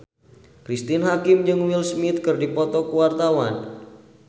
Cristine Hakim jeung Will Smith keur dipoto ku wartawan